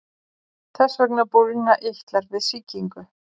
Þess vegna bólgna eitlar við sýkingu.